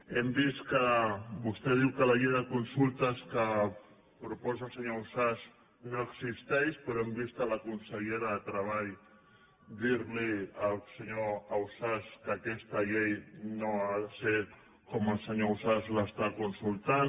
hem vist que vostè diu que la llei de consultes que proposa el senyor ausàs no existeix però hem vist a la consellera de treball dir al senyor ausàs que aquesta llei no ha de ser com el senyor ausàs l’està consultant